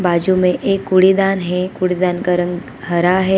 बाजू में एक कूड़ेदान है कूड़ेदान का रंग हरा है।